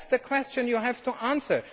That is the question you have to answer.